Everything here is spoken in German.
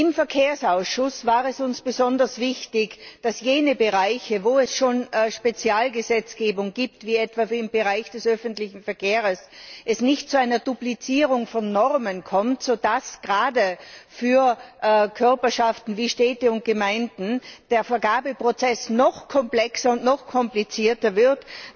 Im Verkehrsausschuss war es uns besonders wichtig, dass es in jenen Bereichen, wo es schon Spezialgesetzgebung gibt wie etwa im Bereich des öffentlichen Verkehrs nicht zu einer Duplizierung von Normen kommt, durch die gerade für Körperschaften wie Städte und Gemeinden der Vergabeprozess noch komplexer und noch komplizierter wird.